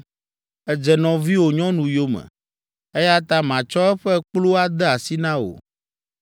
Èdze nɔviwò nyɔnu yome, eya ta matsɔ eƒe kplu ade asi na wò.’